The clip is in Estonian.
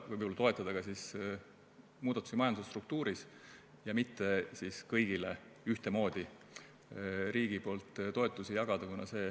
Võib-olla tuleks toetada ka muudatusi majanduse struktuuris ja mitte kõigile ühtemoodi riigilt toetusi jagada.